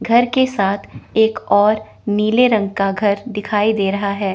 घर के साथ एक और नीले रंग का घर दिखाई दे रहा है।